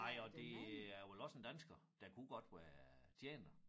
Nej og det er vel også en dansker der kunne godt være tjener